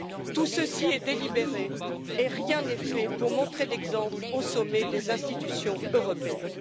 Tout ceci est délibéré et rien n'est fait pour montrer l'exemple au sommet des institutions européennes.